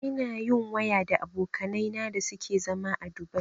Ina yin waya da abokanai na da suke a zama Dubai